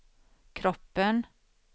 kroppen